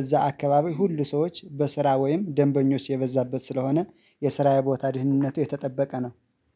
እዛ አካባቢ ሁሉ ሰዎች በስራ ወይም ደንበኞች የበዛበት ስለሆነ የስራዬ ቦታ ደህንነቱ የተጠበቀ ነው።